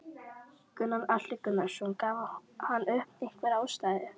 Gunnar Atli Gunnarsson: Gaf hann upp einhverja ástæðu?